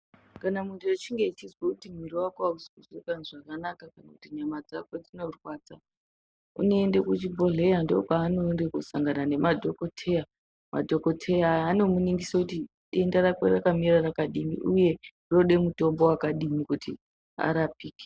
Kana muntu echinge echizwa kuti mwiri wake ausi zvakanaka uye kunyama dzake adzina kumira zvakanaka, kana nyama dzake unoenda kuchibhedhleya. Ndokwaanoenda kundosangana nemadhokodheya. Madhokodheya ndomunigisa kuti 'denda rake rakakura zvakadini kuti arapike.